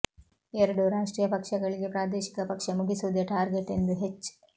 ಎರಡೂ ರಾಷ್ಟ್ರೀಯ ಪಕ್ಷಗಳಿಗೆ ಪ್ರಾದೇಶಿಕ ಪಕ್ಷ ಮುಗಿಸುವುದೇ ಟಾರ್ಗೆಟ್ ಎಂದು ಹೆಚ್